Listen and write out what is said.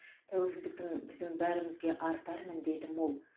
тәуелсіздіктің біздің бәрімізге артар міндеті мол